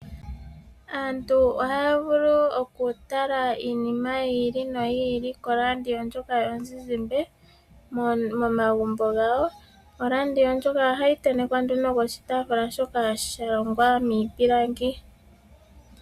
Aantu ohaya vulu okutala iinima yili noyili koradio ndjoka yomuzizimba momagumbo gawo. Oradio ndjoka ohayi tentekwa nduno koshitaafula shoka sha longwa miipilangi.